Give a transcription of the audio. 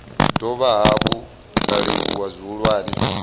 dovha hafhu nda livhuwa zwihulwane